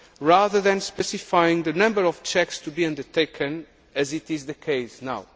of error, rather than specifying the number of checks to be undertaken, as is the case